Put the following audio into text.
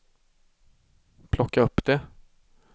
plocka upp det